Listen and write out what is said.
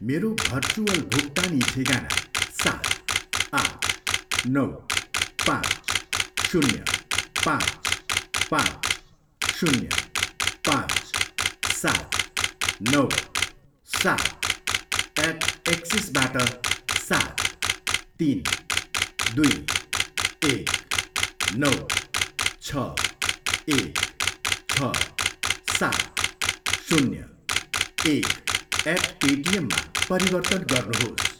मेरो भर्चुअल भुक्तानी ठेगाना सात, आठ, नौ, पाँच, शून्य, पाँच, पाँच, शून्य, पाँच, सात, नौ, सात एट एक्सिसबाट सात, तिन, दुई, एक, नौ, छ, एक, छ, सात, शून्य, एक एट पेटिएममा परिवर्तन गर्नुहोस्।